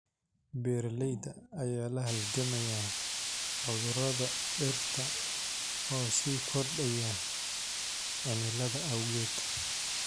Beeralayda ayaa la halgamaya cudurrada dhirta oo sii kordhaya cimilada awgeed.